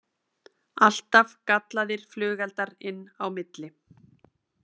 Alltaf gallaðir flugeldar inn á milli